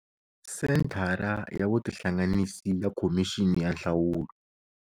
Senthara ya vutihlanganisi ya Khomixini ya Nhlawulo.